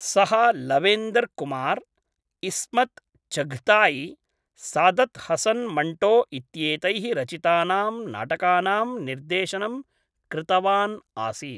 सः लवेन्दर् कुमार्, इस्मत् चघताई, सादत् हसन् मण्टो इत्येतैः रचितानां नाटकानां निर्देशनं कृतवान् आसीत्।